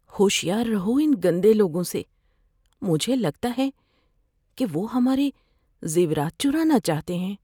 ہوشیار رہو ان گندے لوگوں سے۔ مجھے لگتا ہے کہ وہ ہمارے زیورات چرانا چاہتے ہیں۔